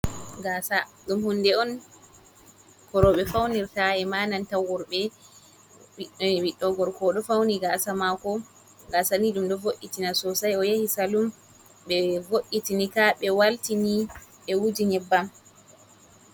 Gasa dum hunde on korobe faunirta ema nantaworbe ,biddo gorko fauni gasa mako gasa ni dum do vo’itina sosai o yahi salum be vo’’itinika be waltini be wuji nyebbam.